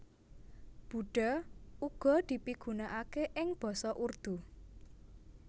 Buddha uga dipigunakaké ing basa Urdu